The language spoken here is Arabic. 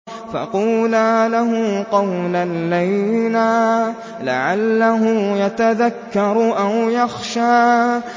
فَقُولَا لَهُ قَوْلًا لَّيِّنًا لَّعَلَّهُ يَتَذَكَّرُ أَوْ يَخْشَىٰ